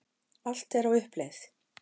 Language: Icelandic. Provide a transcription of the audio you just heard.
Allt er á uppleið.